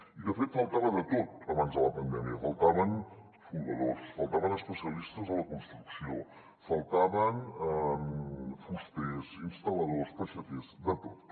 i de fet faltava de tot abans de la pandèmia faltaven soldadors faltaven especialistes de la construcció faltaven fusters instal·ladors peixaters de tot